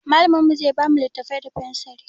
Mallamin mu zai ba mu littattafai da fensiri.